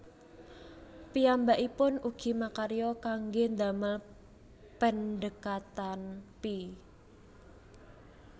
Piyambakipun ugi makarya kangge ndamel pendhekatan pi